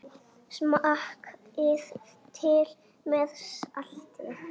Smakkið til með salti.